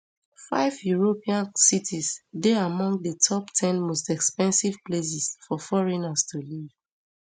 five european cities dey among di top ten most expensive places for foreigners to live